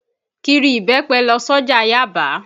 Kiri ibẹ́pẹ lọ s'ọ́jà Yábàá.